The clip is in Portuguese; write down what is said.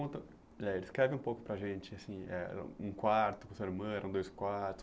Conta eh descreve um pouco para a gente, assim eh um quarto com sua irmã, eram dois quartos.